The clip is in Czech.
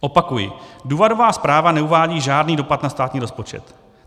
Opakuji, důvodová zpráva neuvádí žádný dopad na státní rozpočet.